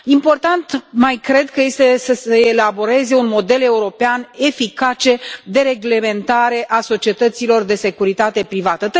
Important mai cred că este să se elaboreze un model european eficace de reglementare a societăților de securitate privată.